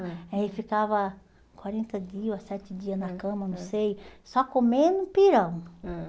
Aí ficava quarenta dias ou é sete dias na cama, não sei, só comendo pirão. Ãh